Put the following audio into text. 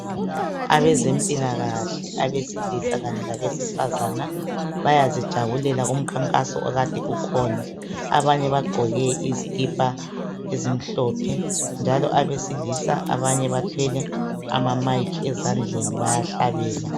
Abezemphilakahle, abesilisa kanye labesifazana, bayazijabulela kumkhankaso okade ukhona. Abanye bagqoke izikhipha ezimhlophe. Njalo abesilisa abanye bathele amamayikhi ezandleni bayahlabela.